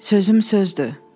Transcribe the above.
Sözüm sözdür.